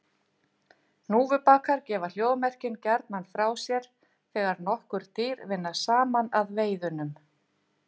Hnúfubakar gefa hljóðmerkin gjarnan frá sér þegar nokkur dýr vinna saman að veiðunum.